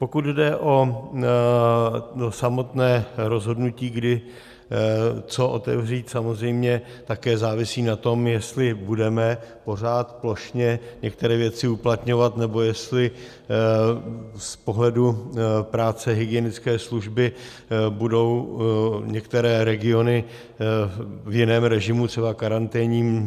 Pokud jde o samotné rozhodnutí, kdy co otevřít, samozřejmě také závisí na tom, jestli budeme pořád plošně některé věci uplatňovat, nebo jestli z pohledu práce hygienické služby budou některé regiony v jiném režimu, třeba karanténním.